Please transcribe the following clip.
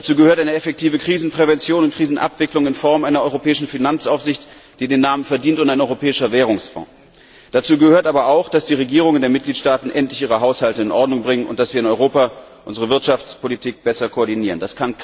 Dazu gehört eine effektive Krisenprävention und Krisenabwicklung in Form einer europäischen Finanzaufsicht, die den Namen verdient, und ein europäischer Währungsfonds. Dazu gehört aber auch, dass die Regierungen der Mitgliedstaaten endlich ihre Haushalte in Ordnung bringen, und dass wir in Europa unsere Wirtschaftspolitik besser koordinieren.